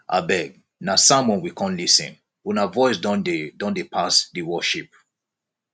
abeg na sermon we come lis ten una voice don dey don dey pass di worship